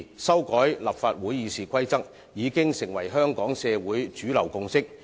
修改立法會《議事規則》已經成為香港社會的主流共識。